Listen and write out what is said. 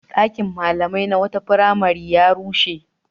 Ɗakin malamai na wata firamare ya rushe.